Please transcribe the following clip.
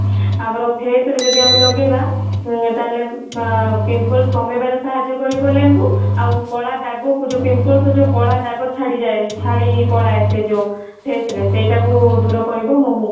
ଆମର face ରେ ଯଦି ଆମେ ଲଗେଇବା ଉଁ ତାହାଲେ ଅଁ pimples କମେଇବା ରେ ସାହାର୍ଯ୍ୟ କରିବା ଲେମ୍ବୁ ଆଉ କଳା ଦାଗ କୁ ଯୋଉ pimples ରେ କଳା ଛାଡିଯାଏ ଛାଡି ପଳାଏ ସେ ଯୋଉ face ରେ ସେଇଟା କୁ ଦୂର କରିବା ମହୁ ସେଥିପାଇଁ